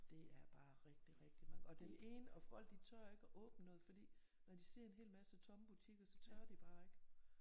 Det er bare rigtig rigtig og den ene og folk de tør ikke at åbne noget fordi når de ser en hel masse tomme butikker så tør de bare ikke